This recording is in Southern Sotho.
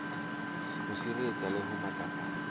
ho sireletsa le ho matlafatsa